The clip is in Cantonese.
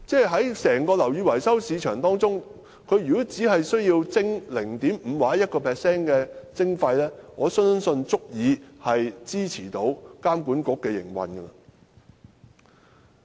在整個樓宇維修市場當中，只需要撥出 0.5% 或 1% 的費用，我相信便足以支持監管局營運。